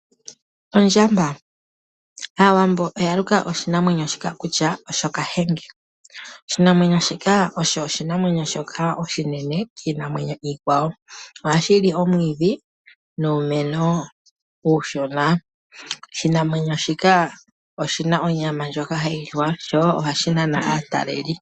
Ondjamba! Aawambo oya luka oshinamwenyo shika Kahenge. Oshinamwenyo shika osho oshinamwenyo oshinene kiinamwenyo iikwawo. Ohashi li omwiidhi nuumeno uushona . Oshinamwenyo shika oshina onyama ndjoka hayi liwa. Ohashi nana woo aataleli.